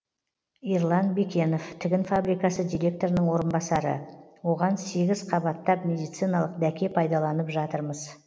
ерлан бекенов тігін фабрикасы директорының орынбасары оған сегіз қабаттап медициналық дәке пайдаланып жатырмыз